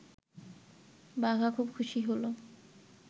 বাঘা খুব খুশি হল